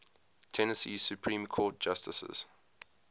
tennessee supreme court justices